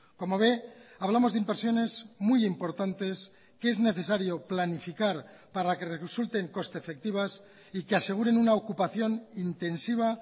como ve hablamos de inversiones muy importantes que es necesario planificar para que resulten coste efectivas y que aseguren una ocupación intensiva